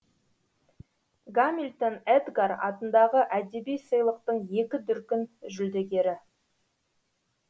гамильтон эдгар атындағы әдеби сыйлықтың екі дүркін жүлдегері